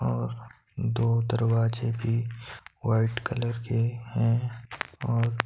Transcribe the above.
और दो दरवाजे भी वाइट कलर के हैं और--